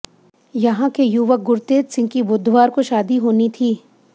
यहां के युवक गुरतेज सिंह की बुधवार को शादी होने थी